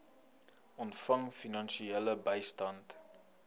ontvang finansiële bystand